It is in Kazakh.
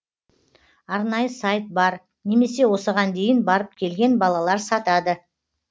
арнайы сайт бар немесе осыған дейін барып келген балалар сатады